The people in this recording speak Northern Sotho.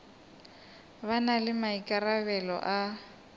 ba na le maikarabelo a